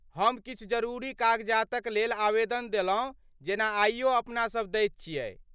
हम किछु जरूरी कागजातक लेल आवेदन देलहुँ जेना आइयो अपनासभ दैत छियै।